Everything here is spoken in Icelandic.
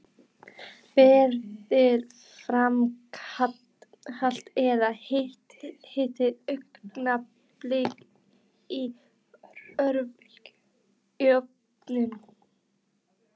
Berið fram kalt eða hitið augnablik í örbylgjuofni.